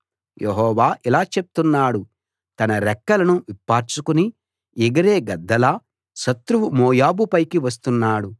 యెహోవా ఇలా చెప్తున్నాడు తన రెక్కలను విప్పార్చుకుని ఎగిరే గద్దలా శత్రువు మోయాబు పైకి వస్తున్నాడు